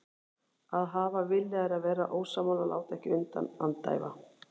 Að hafa vilja er að vera ósammála, láta ekki undan, andæfa.